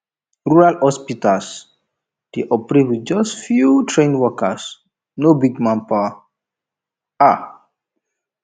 rural hospitals dey operate with just few trained workers no big manpower um